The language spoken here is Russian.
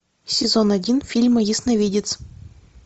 сезон один фильма ясновидец